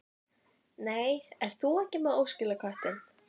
Það var verst með pabba hvað hann var einþykkur.